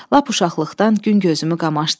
Lap uşaqlıqdan gün gözümü qamaşdırır.